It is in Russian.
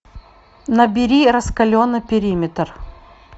набери раскаленный периметр